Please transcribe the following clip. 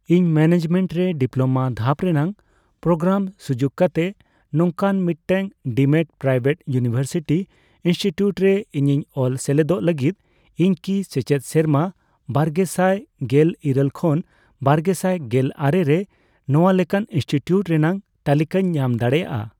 ᱤᱧ ᱢᱮᱱᱮᱡᱢᱮᱱᱴ ᱨᱮ ᱰᱤᱯᱞᱳᱢᱟ ᱫᱷᱟᱯ ᱨᱮᱱᱟᱜ ᱯᱨᱳᱜᱨᱟᱢ ᱥᱩᱡᱩᱠ ᱠᱟᱛᱮ ᱱᱚᱝᱠᱟᱱ ᱢᱤᱫᱴᱟᱝ ᱰᱤᱢᱰ ᱯᱨᱟᱭᱵᱷᱮᱴ ᱤᱭᱩᱱᱤᱣᱮᱨᱥᱤᱴᱤ ᱤᱱᱥᱴᱤᱴᱤᱭᱩᱴ ᱨᱮ ᱤᱧᱤᱧ ᱚᱞ ᱥᱮᱞᱮᱫᱚᱜ ᱞᱟᱹᱜᱤᱫ, ᱤᱧ ᱠᱤ ᱥᱮᱪᱮᱫ ᱥᱮᱨᱢᱟ ᱵᱟᱨᱜᱮᱥᱟᱭ ᱜᱮᱞ ᱤᱨᱟᱹᱞ ᱠᱷᱚᱱ ᱵᱟᱨᱜᱮᱥᱟᱭ ᱜᱮᱞ ᱟᱨᱮ ᱨᱮ ᱱᱚᱣᱟ ᱞᱮᱠᱟᱱ ᱤᱱᱥᱴᱤᱴᱤᱭᱩᱴ ᱨᱮᱱᱟᱜ ᱛᱟᱞᱤᱠᱟᱧ ᱧᱟᱢ ᱫᱟᱲᱮᱭᱟᱜᱼᱟ ?